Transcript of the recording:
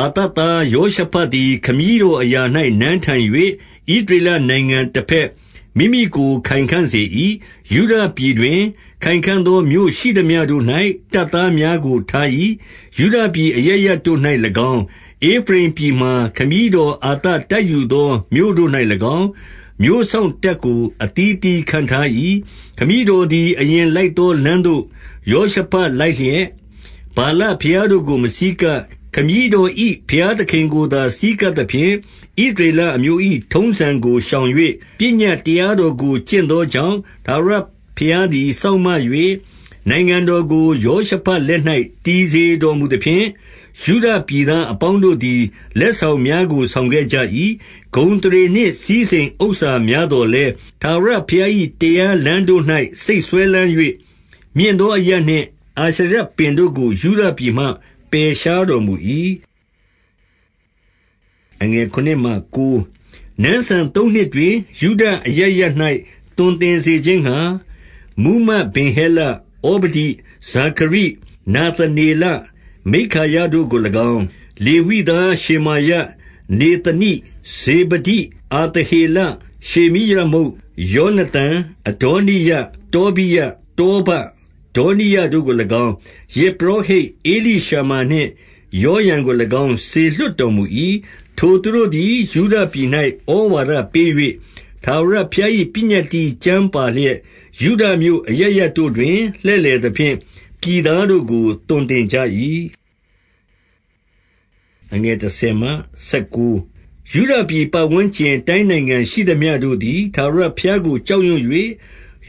အာသသားယောရှဖတ်သည် ခမည်းတော် အရာ၌ နန်းထိုင်၍၊ ဣသရေလနိုင်ငံတဘက် မိမိကို ခိုင်ခံ့စေ၏။ 2 ယုဒပြည်တွင်၊ ခိုင်ခံ့သောမြို့ရှိသမျှတို့၌၊ တပ် သားများကိုထား၏။ ယုဒပြည်အရပ်ရပ်တို့၌၎င်း၊ ဧဖရိမ် ပြည်မှာ ခမည်းတော် အာသတိုက်ယူ သော မြို့တို့၌၎င်း၊ မြို့စောင့်တပ်ကို အသီးအသီးခန့်ထား၏။ 3 ခမည်းတော်သည် အရင်လိုက်သောလမ်းသို့၊ ယောရှဖတ်လိုက်လျက်၊ 4 ဗာလဘုရားတို့ကို မဆည်းကပ်၊ ခမည်းတော်၏ ဘုရားသခင်ကိုသာ ဆည်းကပ်သဖြင့်၊ ဣသရေလအမျိုး ၏ ထုံးစံကိုရှောင်၍၊ ပညတ်တရားတော်ကို ကျင့်သော ကြောင့်၊ ထာဝရဘုရားသည် စောင့်မ၍၊ 5 နိုင်ငံတော်ကိုယောရှဖတ်လက်၌ တည်စေတော် မူသဖြင့်၊ ယုဒပြည်သားအပေါင်းတို့သည် လက်ဆောင် များကို ဆောင်ခဲ့ကြ၏။ 6 ဂုဏ်အသရေနှင့် စည်းစိမ်ဥစ္စာများသော်လည်း၊ ထာဝရဘုရား၏ တရားလမ်းတို့၌ စိတ်စွဲလမ်း၍၊ မြင့် သောအရပ်နှင့် အာရှရပင်တို့ကို ယုဒပြည်မှ ပယ်ရှား တော်မူ၏။ 7 နန်းစံသုံးနှစ်တွင်၊ ယုဒမြို့ အရပ်ရပ်၌ သွန်သင် စေခြင်းငှါ၊ မှူးမတ် ဗင်ဟဲလ၊ ဩဗဒိ၊ ဇာခရိ၊ နာသနေလ၊ မိက္ခာယတို့ကို၎င်း၊ 8 လေဝိသားရှေမာယ၊ နေသနိ၊ ဇေဗဒိ၊ အာသ ဟေလ၊ ရှေမိရမုတ်၊ ယောနသန်၊ အဒေါနိယ၊ တောဘိယ၊ တောဘ၊ ဒေါနိယတို့ကို၎င်း၊ ယဇ်ပုရောဟိတ်ဧလိ ရှမာနှင့် ယောရံကို၎င်း၊ စေလွှတ်တော်မူ၏။ 9 ထိုသူတို့သည် ယုဒပြည်၌ဩဝါဒပေး၍၊ ထာဝရ ဘုရား၏ ပညတ္တိကျမ်းပါလျက်၊ ယုဒမြို့အရပ်ရပ်တို့တွင်၊ လှည့်လည်သဖြင့်၊ ပြည်သားတို့ကို သွန်သင်ကြ၏။ 10 ယုဒပြည် ပတ်ဝန်းကျင်တိုင်းနိုင်ငံရှိသမျှတို့ သည်၊ ထာဝရဘုရားကို ကြောက်ရွံ့၍၊